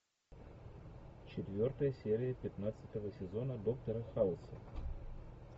четвертая серия пятнадцатого сезона доктора хауса